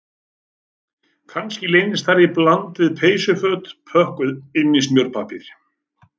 Kannski leynast þar í bland við peysuföt pökkuð innan í smjörpappír